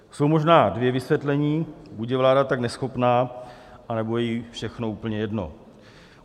Jsou možná dvě vysvětlení: buď je vláda tak neschopná, anebo jí je všechno úplně jedno.